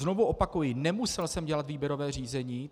Znovu opakuji, nemusel jsem dělat výběrové řízení.